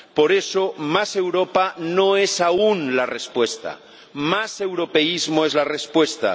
Por eso, más Europa no es aún la respuesta más europeísmo es la respuesta.